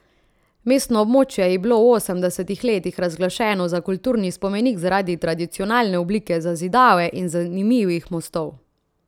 Mestno območje je bilo v osemdesetih letih razglašeno za kulturni spomenik zaradi tradicionalne oblike zazidave in zanimivih mostov.